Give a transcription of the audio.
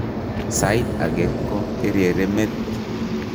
Saait age ko kerere met